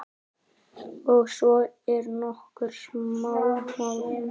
Og svo eru nokkur smámál.